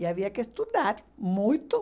E havia que estudar muito.